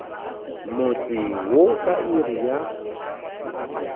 motse wo ka iri ya